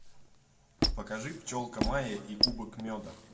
покажи пчелка майя и кубок меда